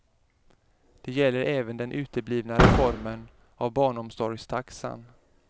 Det gäller även den uteblivna reformen av barnomsorgstaxan.